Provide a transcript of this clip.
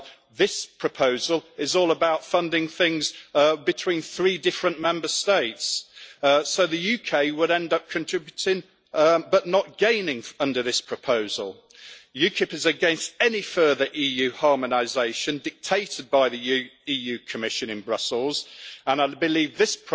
Well, this proposal is all about funding things between three different Member States, so the UK would end up contributing but not gaining under the proposal. UKIP is against any further EU harmonisation dictated by the Commission in Brussels, and I believe that this